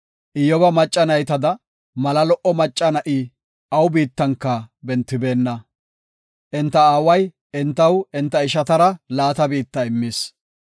Iyyoba macca naytada mala lo77o macca na7i awu biittan bentibeenna. Enta aawa entaw enta ishatara laata biitta immis.